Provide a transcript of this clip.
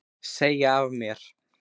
Segja af mér